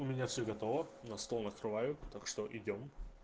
у меня все готово на стол накрывают так что идём